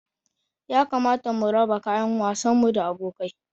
Ya kamata mu raba kayan wasan mu da abokai.